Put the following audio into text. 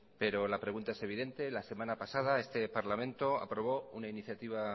pero la pregunta es evidente la semana pasada este parlamento aprobó una iniciativa